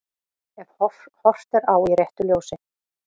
Ef horft er á í réttu ljósi.